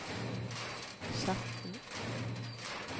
Skjetten